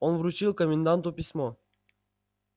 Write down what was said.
он вручил коменданту письмо